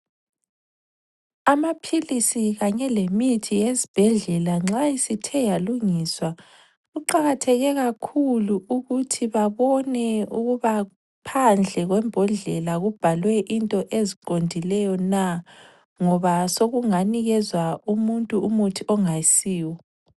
Amaphilisi kanye lemithi yesibhedlela nxa isithe yalungiswa, kuqakatheke kakhulu ukuthi babone ukuba phandle kwembodlela kubhalwe into eziqondileyo na ngoba sekunganikezwa umuntu umuthi ongayisiwo.